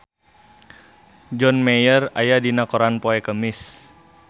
John Mayer aya dina koran poe Kemis